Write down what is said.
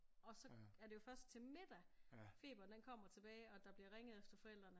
Og så er det jo først til middag feberen den kommer tilbage og der bliver ringet efter forældrene